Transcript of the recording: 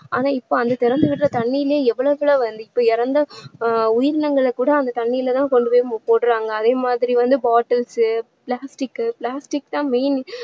ஆனா இப்போ அந்த திறந்து விடுற தண்ணீலேயே எவ்ளோ இப்போ இறந்த ஆஹ் உயிரினங்களை கூட அந்த தண்ணீருல தான் கொண்டு போய் போடுறாங்க அதே மாதிரி வந்து bottles plastic plastic தான் main